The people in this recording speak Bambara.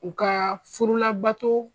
U ka furu labato